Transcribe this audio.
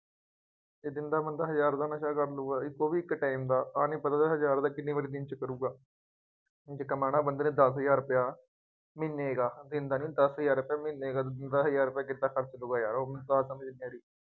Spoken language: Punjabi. ਇੱਕ ਦਿਨ ਦਾ ਬੰਦਾ ਹਜ਼ਾਰ ਦਾ ਨਸ਼ਾ ਕਰ ਲਊਗਾ, ਇੱਕ ਉਹ ਵੀ ਇੱਕ time ਦਾ ਆਹ ਨਹੀਂ ਪਤਾ ਹਜ਼ਾਰ ਰੁਪਇਆ ਕਿੰਨੀ ਵਾਰੀ ਦਿਨ ਚ ਕਰੂਗਾ। ਹੁਣ ਜੇ ਕਮਾਉਣਾ ਬੰਦੇ ਨੇ ਦਸ ਹਜ਼ਾਰ ਰੁਪਇਆ, ਮਹੀਨੇ ਕਾ, ਦਿਨ ਦਾ ਨਹੀਂ, ਦਸ ਹਜ਼ਾਰ ਰੁਪਇਆ ਮਹੀਨੇ ਕਾ, ਬੰਦਾ ਹਜ਼ਾਰ ਰੁਪਇਆ ਕਿਦਾਂ ਖਰਚ ਲਊਗਾ ਯਾਰ ਉਹੀ ਤਾਂ ਸਮਝ ਨਹੀਂ ਆ ਰਹੀ।